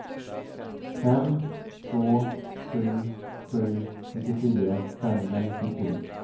fem två sju sju sjuttiofyra femhundranittiotre